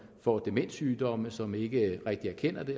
får demenssygdomme som ikke rigtig erkender det